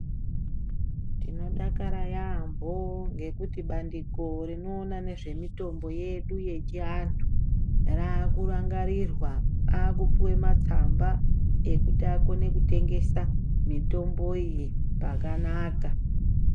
Tinodakara yaambo ngekuti bandiko rinoona nezvemitombo yedu yechiantu raakurangarirwa. Aakupuwe matsamba ekuti akone kutengesa mitombo iyi pakanaka.